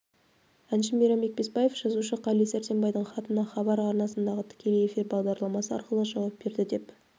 әнші мейрамбек бесбаев жазушы қали сәрсенбайдың хатына хабар арнасындағы тікелей эфир бағдарламасы арқылы жауап берді деп